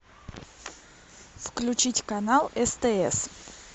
включить канал стс